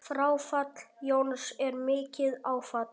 Fráfall Jóns er mikið áfall.